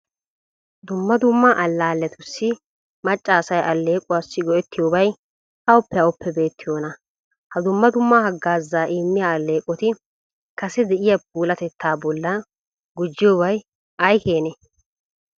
Dumma dumma allaalletussi macca asay alleequwassi go"ettiyobati awuppe awuppe beettiyonaa? Ha dumma dumma haggaazaa immiya alleeqoti kase de'iya puulatettaa bollan gujjiyobi ay keenee?